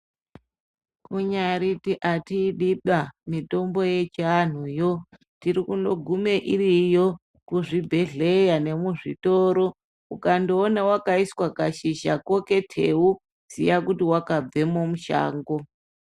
Kunyariti hatidiba mitombo yechiantu yo tirikundo gume iriyo kuzvibhedhlera nemuzvitoro ukangoona wakaiswa kashizha ko keteu ziya kuti wakabvemo mushango.